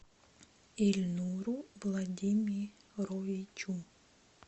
ильнуру владимировичу